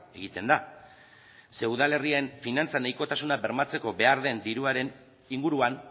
egiten da zeren udalerrien finantza nahikotasuna bermatzeko behar den diruaren inguruan